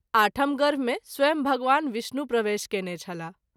आठम गर्भ मे स्वंय भगवान विष्णु प्रवेश कएने छलाह।